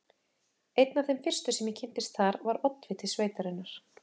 Einn af þeim fyrstu, sem ég kynntist þar, var oddviti sveitarinnar